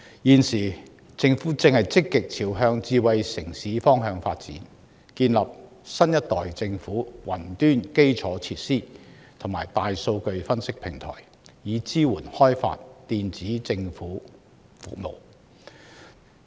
現時，政府正積極朝向智慧城市方向發展，建設新一代政府雲端基礎設施和大數據分析平台，以支援開發電子政府服務。